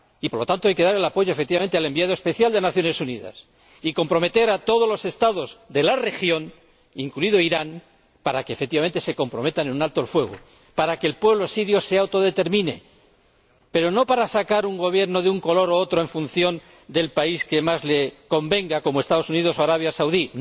Y, por lo tanto, hay que apoyar, efectivamente, al Enviado Especial de las Naciones Unidas y comprometer a todos los Estados de la región, incluido Irán, para que, efectivamente, se comprometan en un alto el fuego, para que el pueblo sirio se autodetermine, pero no para sacar un Gobierno de un color u otro en función de lo que más les convenga a unos u otros, como hacen los Estados Unidos o Arabia Saudí.